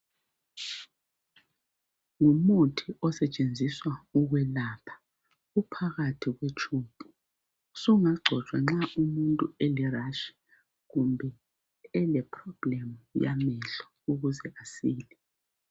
Ngumuthi osetshenziswa ukwelapha .Uphakathi kwetshubhu sungagcotshwa nxa umuntu ele rash kumbe ele problem yamehlo. Ukuze asile